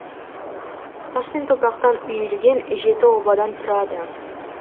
тас пен топырақтан үйілген жеті обадан тұрады